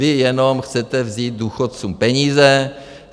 Vy jenom chcete vzít důchodcům peníze.